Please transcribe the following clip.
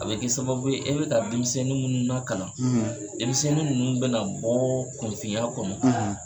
A be kɛ sababu ye e be ka denmisɛnni minnu na kalan, denmisɛnnin ninnu bɛna bɔɔ kunfinya kɔnɔ.